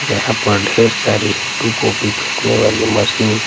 जहाँ पर ढेर सारी टू कॉपी करने वाली मशीन --